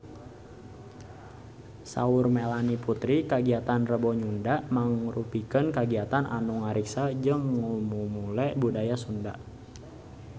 Saur Melanie Putri kagiatan Rebo Nyunda mangrupikeun kagiatan anu ngariksa jeung ngamumule budaya Sunda